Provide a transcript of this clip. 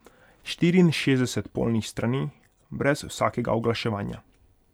Štiriinšestdeset polnih strani, brez vsakega oglaševanja.